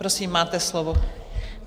Prosím, máte slovo.